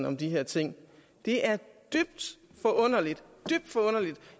om de her ting det er dybt forunderligt